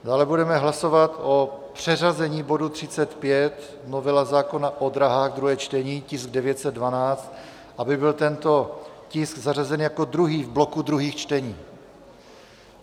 Dále budeme hlasovat o přeřazení bodu 35, novela zákona o dráhách, druhé čtení, tisk 912, aby byl tento tisk zařazen jako druhý v bloku druhých čtení.